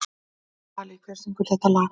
Dalí, hver syngur þetta lag?